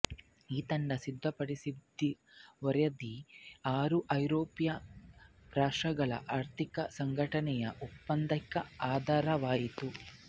ಈ ತಂಡ ಸಿದ್ಧಪಡಿಸಿದ ವರದಿ ಆರು ಐರೋಪ್ಯ ರಾಷ್ಟ್ರಗಳ ಆರ್ಥಿಕ ಸಂಘಟನೆಯ ಒಪ್ಪಂದಕ್ಕೆ ಆಧಾರವಾಯಿತು